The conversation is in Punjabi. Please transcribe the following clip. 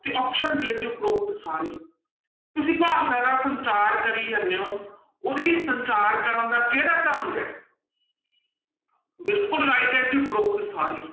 ਤੇ option d ਹੈ ਜੀ ਉਪਰੋਕਤ ਸਾਰੇ, ਤੁਸੀਂ ਭਾਸ਼ਾ ਦਾ ਸੰਚਾਰ ਕਰੀ ਜਾਂਦੇ ਹੋ, ਉਹਦੇ ਸੰਚਾਰ ਕਰਨ ਦਾ ਕਿਹੜਾ ਢੰਗ ਹੈ ਬਿਲਕੁਲ right ਹੈ ਜੀ ਉਪਰੋਕਤ ਸਾਰੇ।